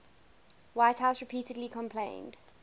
whitehouse repeatedly complained